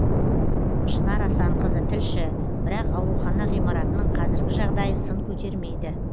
шынар асанқызы тілші бірақ аурухана ғимаратының қазіргі жағдайы сын көтермейді